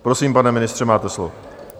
Prosím, pane ministře, máte slovo.